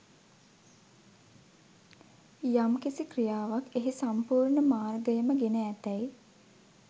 යම් කිසි ක්‍රියාවක් එහි සම්පූර්ණ මාර්ගයම ගෙන ඇතැයි